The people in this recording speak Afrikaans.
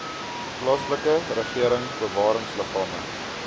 plaaslike regering bewaringsliggame